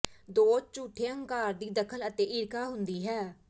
ਦੋ ਝੂਠੇ ਹੰਕਾਰ ਦੀ ਦਖਲ ਅਤੇ ਈਰਖਾ ਹੁੰਦੀ ਹੈ